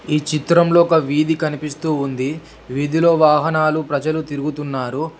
ఈ చిత్రంలో ఒక వీధి కనిపిస్తూ ఉంది వీధిలో వాహనాలు ప్రజలు తిరుగుతున్నారు.